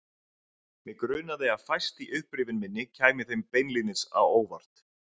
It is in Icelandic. Mig grunaði að fæst í upprifjun minni kæmi þeim beinlínis á óvart.